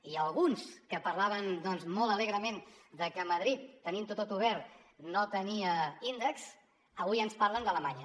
i alguns que parlaven molt alegrement de que a madrid tenint ho tot obert no tenien índex avui ens parlen d’alemanya